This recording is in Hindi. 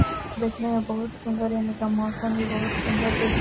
देखने में बहुत सुन्दर यहाँ का मौसम भी बहुत सुन्दर देख --